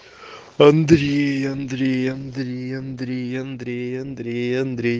андрей андрей андрей андрей андрей андрей андрей